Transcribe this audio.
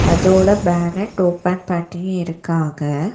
அதோட bonnet open பண்ணி இருக்காங்க.